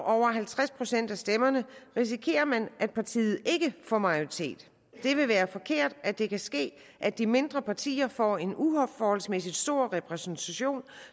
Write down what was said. over halvtreds procent af stemmerne risikerer man at partiet ikke får majoritet det vil være forkert at det kan ske at de mindre partier får en uforholdsmæssig stor repræsentation